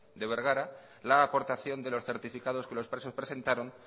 de bergara la aportación de los certificados que los presos presentaron